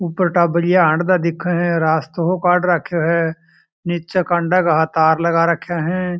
और टाबरिया सा हंड़ता दिखे है रास्तो सो काड रखो है नीचे कांडा का तार लगा राखा है।